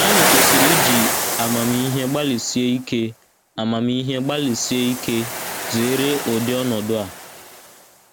Anyị kwesịrị iji amamihe gbalịsi ike amamihe gbalịsi ike zere ụdị ọnọdụ a.